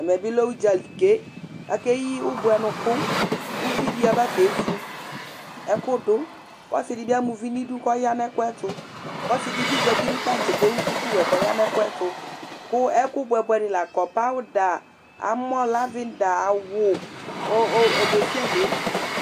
Ɛmɛ bɩ lɛ ʋdzali ke, akeyi ʋbʋɛnʋkʋ, kuvi dɩ aba kevu ɛkʋ dʋ,kɔsɩ dɩ bɩ amauvi nidu kɔya nɛkʋɛtʋ, ɔsɩ dɩ bɩewu duku